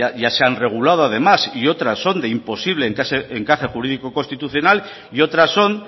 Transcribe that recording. ya se han regulado además y otras son de imposible encaje jurídico constitucional y otras son